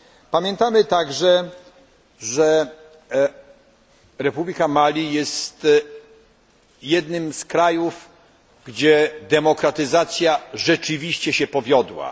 Pamiętamy także, że Republika Mali jest jednym z krajów, gdzie demokratyzacja rzeczywiście się powiodła.